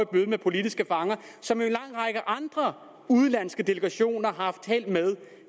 møde med politiske fanger som en lang række andre udenlandske delegationer har haft held med